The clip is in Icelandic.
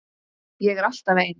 Ég er alltaf ein.